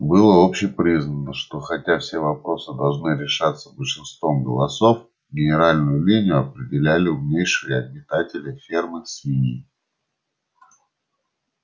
было общепризнано что хотя все вопросы должны решаться большинством голосов генеральную линию определяли умнейшие обитатели фермы свиньи